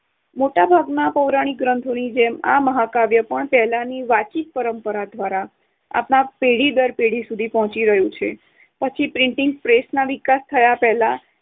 મોટાભાગના પૌરાણિક ગ્રંથોની જેમ આ મહાકાવ્ય પણ પહેલાની વાચિક પરંપરા દ્વારા આપણા પેઢી દર પેઢી સુધી પહોંચી રહ્યું છે. પછી printing press ના વિકાસ થયા પહેલાંં